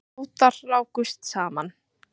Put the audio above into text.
Bátar rákust saman